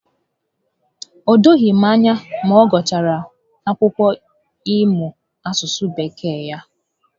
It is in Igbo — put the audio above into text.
O doghị m anya ma ọ gụchara akwụkwọ ị mụ asụsụ Bekee ya